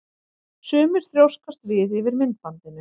Sumir þrjóskast við yfir myndbandinu.